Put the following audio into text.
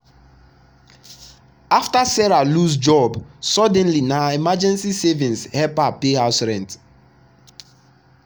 after sarah lose job suddenly na her emergency savings help her pay house rent.